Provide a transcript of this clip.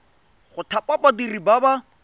go thapa badiri ba ba